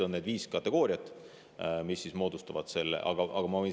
Need viis kategooriat moodustavad selle.